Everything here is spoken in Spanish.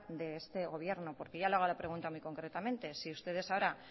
de este gobierno porque yo le hago la pregunta muy concretamente si ustedes ahora